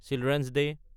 children's day